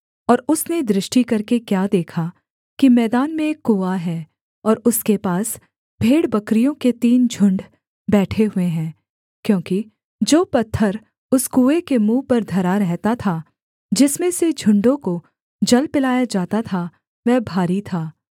और उसने दृष्टि करके क्या देखा कि मैदान में एक कुआँ है और उसके पास भेड़बकरियों के तीन झुण्ड बैठे हुए हैं क्योंकि जो पत्थर उस कुएँ के मुँह पर धरा रहता था जिसमें से झुण्डों को जल पिलाया जाता था वह भारी था